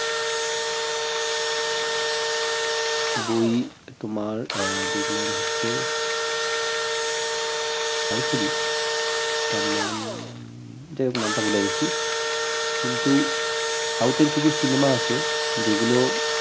বই তোমার আহ দেখরাম হচ্ছে south এরই তার নাম যাই হোক নামটা ভুলে গেছি কিন্তু south এর কিছু cinema আছে যেগুলো